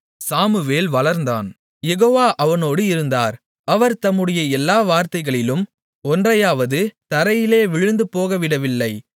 Samuel வளர்ந்தான் Jehovah அவனோடு இருந்தார் அவர் தம்முடைய எல்லா வார்த்தைகளிலும் ஒன்றையாவது தரையிலே விழுந்துபோகவிடவில்லை